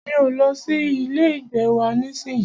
Mi o lọ sí ilé ìgbé wa nísìyí.